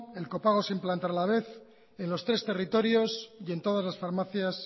el copago se implantará a la vez en los tres territorios y en todas las farmacias